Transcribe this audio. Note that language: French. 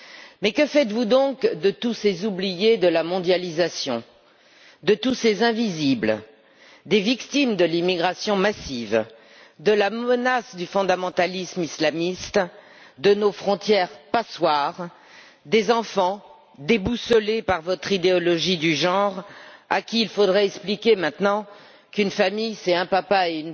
Mais que faites vous donc de tous ces oubliés de la mondialisation, de tous ces invisibles, des victimes de l'immigration massive, de la menace du fondamentalisme islamiste, de nos frontières passoires, des enfants déboussolés par votre idéologie du genre, à qui il faudrait expliquer maintenant qu'une famille, c'est un papa et